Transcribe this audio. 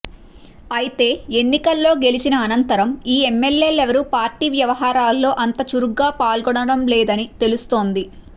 అయితే ఎన్నికల్లో గెలిచిన అనంతరం ఈ ఎమ్మెల్యేలెవరూ పార్టీ వ్యవహారాల్లో అంత చురుగ్గా పాల్గొనడం లేదని తెలుస్తోంది